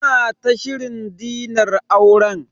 Muna ta shirin dinar auren.